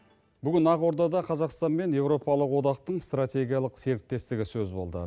бүгін ақордада қазақстан мен еуропалық одақтың стратегиялық серіктестігі сөз болды